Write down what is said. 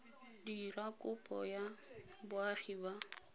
dira kopo ya boagi ba